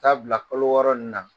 Taa bila kolo wɔɔrɔin in na